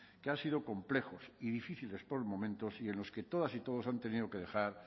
que han sido complejos y difíciles por momentos y en los que todas y todos han tenido que dejar